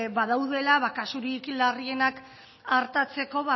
badaudela kasurik larrienak artatzeko